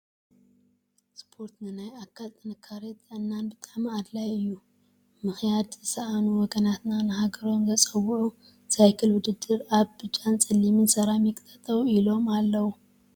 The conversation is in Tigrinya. ስፖርት ንናይ አካል ጥንካረን ጥዕናን ብጣዕሚ አድላይ እዩ፡፡ ምክያድ ዝሰአኑ ወገናትና ንሃገሮም ዘፀውዑ ሳይክል ውድድር አብ ብጫን ፀሊምን ሰራክን ጠጠው ኢሎም አለው፡፡